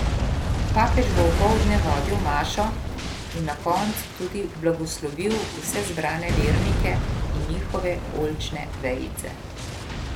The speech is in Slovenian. Papež bo opoldne vodil mašo in na koncu tudi blagoslovil vse zbrane vernike in njihove oljčne vejice.